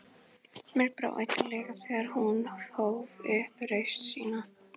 Mér brá illilega þegar hún hóf upp raust sína